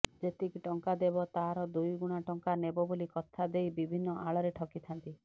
ଯେତିକି ଟଙ୍କା ଦେବ ତାର ଦୁଇ ଗୁଣା ଟଙ୍କା ନେବ ବୋଲି କଥା ଦେଇ ବିଭିନ୍ନ ଆଳରେ ଠକିଥାନ୍ତି